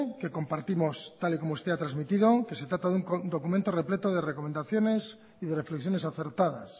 que compartimos tal y como usted ha transmitido que se trata de un documento repleto de recomendaciones y de reflexiones acertadas